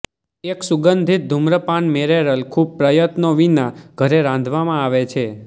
એક સુગંધિત ધૂમ્રપાન મૅરેરલ ખૂબ પ્રયત્નો વિના ઘરે રાંધવામાં આવે છે